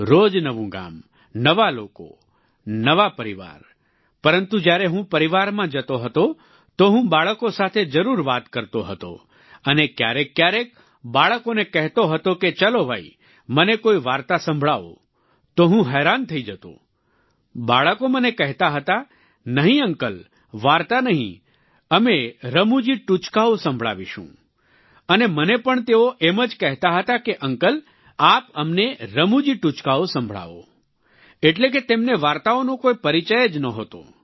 રોજ નવું ગામ નવા લોકો નવા પરિવાર પરંતુ જ્યારે હું પરિવારમાં જતો હતો તો હું બાળકો સાથે જરૂર વાત કરતો હતો અને ક્યારેકક્યારેક બાળકોને કહેતો હતો કે ચલો ભઈ મને કોઈ વાર્તા સંભળાવો તો હું હેરાન થઈ જતો બાળકો મને કહેતા હતા નહીં અંકલ વાર્તા નહીં અમે રમૂજી ટૂચકાઓ સંભળાવીશું અને મને પણ તેઓ એમ જ કહેતા હતા કે અંકલ આપ અમને રમૂજી ટૂચકાઓ સંભળાવો એટલે કે તેમને વાર્તાઓનો કોઈ પરિચય જ નહોતો